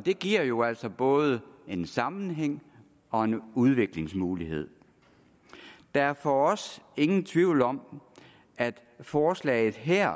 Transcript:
det giver jo altså både en sammenhæng og en udviklingsmulighed der er for os ingen tvivl om at forslaget her